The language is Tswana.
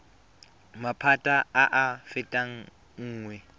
maphata a a fetang nngwe